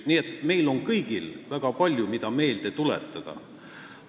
Nii et meil kõigil on väga palju sellist, mida meelde tuletada.